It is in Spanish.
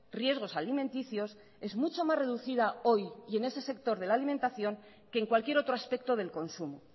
riesgos alimenticios es mucho más reducida hoy y en ese sector de la alimentación que en cualquier otro aspecto del consumo